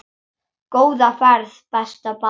Góða ferð besta barn.